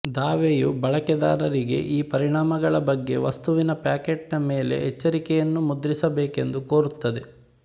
ದಾವೆಯು ಬಳಕೆದಾರರಿಗೆ ಈ ಪರಿಣಾಮಗಳ ಬಗ್ಗೆ ವಸ್ತುವಿನ ಪ್ಯಾಕೆಟ್ ನ ಮೇಲೆ ಎಚ್ಚರಿಕೆಯನ್ನು ಮುದ್ರಿಸಬೇಕೆಂದು ಕೋರುತ್ತದೆ